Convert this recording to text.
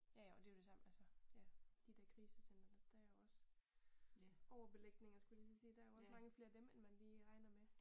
Ja ja og det jo det samme altså ja de der krisecentre der er jo også overbelægninger skulle jeg lige til at sige der er jo også mange flere af dem, end man lige regner med